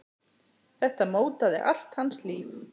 Þetta mótaði allt hans líf.